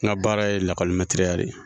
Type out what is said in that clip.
N ka baara ye lakɔlimɛtiriya de ye